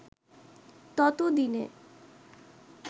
ততো দিনে